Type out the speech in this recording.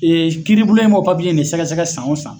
Ee kiribulon in b'o papiye nin sɛgɛsɛgɛ san o san.